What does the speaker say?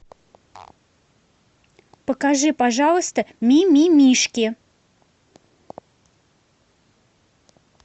покажи пожалуйста мимимишки